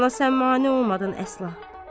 Bala sən mane olmadın əsla.